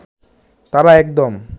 তারা একদম